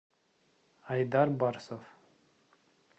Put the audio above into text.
айдар барсов